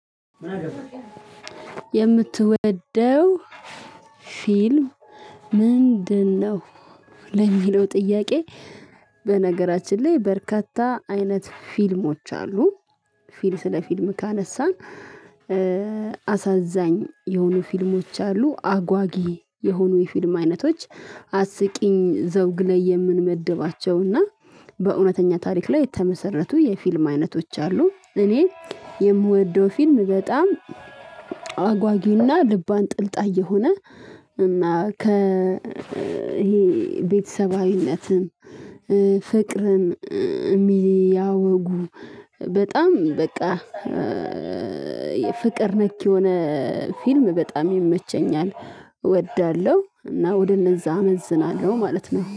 የምትወደው ፊልም ምንድነው? ለሚለው ጥያቄ በነገራችን ላይ በርካታ አይነት ፊልሞች አሉ። ፊልስ ለፊልም ካነሳ። አሳዛኝ የሆኑ ፊልሞች አሉ አጓጊ የሆኑ የፊልም አይነቶች አስቂኝ ዘውግ ላይ የምንመድባቸውና በእውነተኛ ታሪክ ላይ የተመሰረቱ የፊልም አይነቶች አሉ። እኔ የምወደው ፊልም በጣም አጓጊና ልብ አንጠልጣይ የሆነ እና ከ ይሄ ቤተሰባዊነትን ፍቅርን የሚያወጉ በጣም በቃ የፍቅር ነክ የሆነ ፊልም በጣም ይመቸኛል እወዳለሁ። እና ወደ እነዛ አመዝናለሁ ማለት ነው